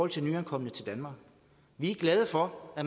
til nyankomne til danmark vi er glade for at